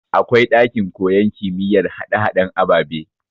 Akwai ɗakin koyan kimiyar hade haden ababe